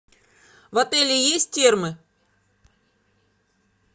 в отеле есть термы